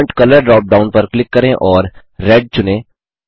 font colour drop down पर click करें और रेड चुनें